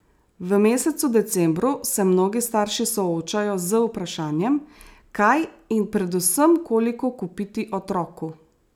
V mesecu decembru se mnogi starši soočajo z vprašanjem, kaj in predvsem koliko kupiti otroku.